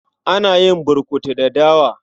Ana yin burkutu da dawa.